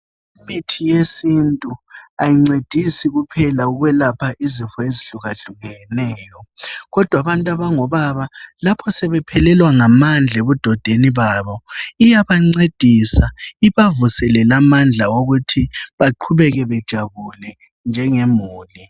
Imithi yesintu ayincedisi kuphela ukwelapha izifo ezihlukahlukeneyo. Kodwa abantu abangobaba lapho sebephelelwa ngamandla ebudodeni babo, iyabancedisa ibavuselele amandla okuthi baqhubeke bejabule njengemuli.